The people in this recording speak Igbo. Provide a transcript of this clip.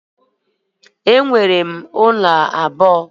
Enwere m ụlọ abụọ